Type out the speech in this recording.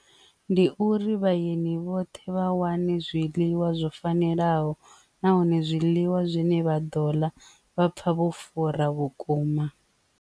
Ndi uri vhaeni vhoṱhe vha wane zwiḽiwa zwo fanelaho nahone zwiḽiwa zwine vha ḓo ḽa vha pfha vho fura vhukuma.